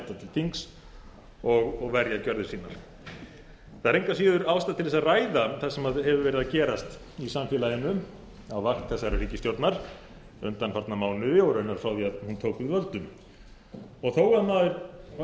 þings og verja gerðir sínar það er engu að síður ástæða til að ræða það sem hefur verið að gerast í samfélaginu á mark þessarar ríkisstjórnar undanfarna mánuði og raunar frá því að hún tók við völdum þó að maður hafi verið farinn að vona það